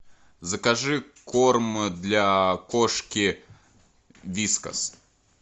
закажи корм для кошки вискас